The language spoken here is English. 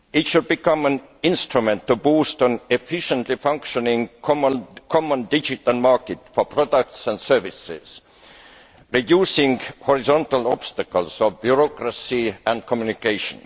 It should become an instrument to boost an efficiently functioning, common digital market for products and services, reducing horizontal obstacles of bureaucracy and communication.